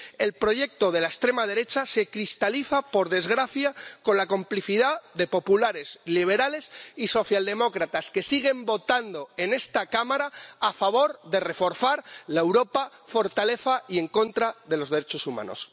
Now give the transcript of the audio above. El proyecto de la extrema derecha se cristaliza, por desgracia, con la complicidad de populares, liberales y socialdemócratas, que siguen votando en esta Cámara a favor de reforzar la Europa fortaleza y en contra de los derechos humanos.